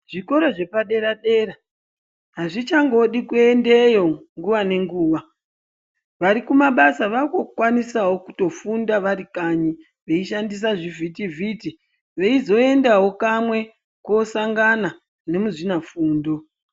Zvikora zvepadera dera hazvichangodi kuendeyo nguva nenguva vari kumabasa vakukwanisawo kutofunda vari kanyi veishandisa zvivhitivhiti veizoendawo kamwe kosangana nemuzvinafundo.